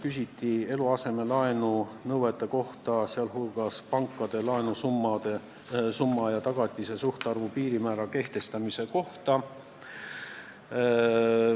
Küsiti eluasemelaenu nõuete kohta, sh pankade laenusumma ja tagatise suhtarvu piirmäära kehtestamise kohta.